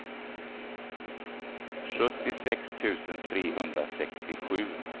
sjuttiosex tusen trehundrasextiosju